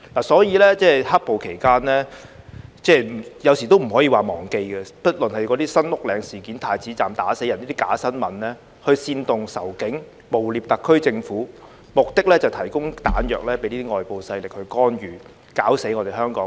所以，"黑暴"期間，有時都不可以說忘記，不論是"新屋嶺事件"、"太子站打死人"等假新聞，去煽動仇警、誣衊特區政府，目的是提供彈藥給外部勢力作出干預，搞死我們香港。